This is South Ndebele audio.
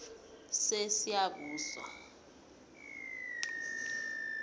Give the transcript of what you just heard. sesiyabuswa